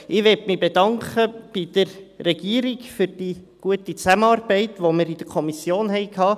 Ich möchte mich bei der Regierung für die gute Zusammenarbeit bedanken, die wir in der Kommission hatten.